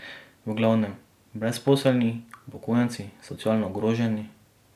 V glavnem brezposelni, upokojenci, socialno ogroženi ...